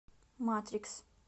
матрикс